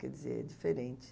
Quer dizer, é diferente.